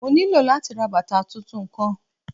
Mo nilo lati ra bata tuntun kan.